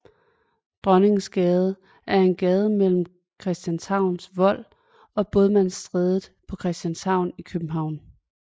Dronningensgade er en gade mellem Christianshavns Vold og Bådsmandsstræde på Christianshavn i København